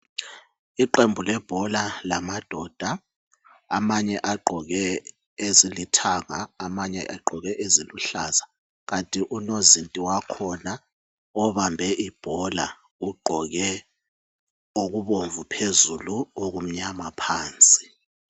Iqembu lebhola amadoda amanye agqoke izigqoko ezilithanga abanye bangqoke eziluhlaza kant unozinti wakhona obambe ibhola ugqoke okubomvu phezulu lokumnyama phansi